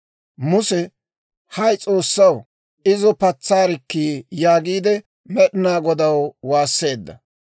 Muse, «Hay S'oossaw, izo patsaarikkii!» yaagiide Med'inaa Godaw waasseedda.